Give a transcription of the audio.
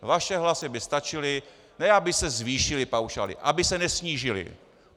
Vaše hlasy by stačily, ne aby se zvýšily paušály - aby se nesnížily.